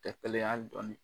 Tɛ kelen ye ali dɔɔnin.